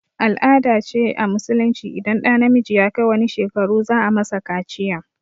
Al-ada ce a musulunci idan ɗa namiji ya kai wani shekaru za a masa kaciya